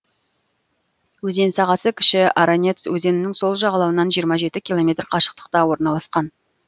өзен сағасы кіші аранец өзенінің сол жағалауынан жиырма жеті километр қашықтықта орналасқан